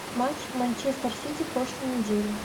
матч манчестер сити прошлой недели